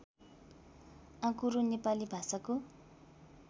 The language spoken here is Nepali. आँकुरो नेपाली भाषाको